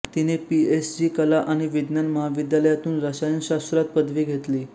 तिने पीएसजी कला आणि विज्ञान महाविद्यालयातून रसायनशास्त्रात पदवी घेतली